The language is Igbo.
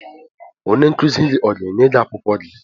Onye nkuzi gị ọ ga-enye gị akwụkwọ gị?